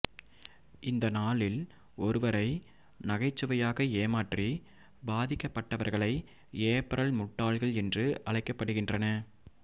இந்த நாளில் ஒருவரை நகைச்சுவையாக ஏமாற்றி பாதிக்கப்பட்டவர்களை ஏப்ரல் முட்டாள்கள் என்று அழைக்கப்படுகின்றன